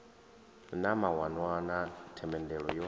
na mawanwa na themendelo yo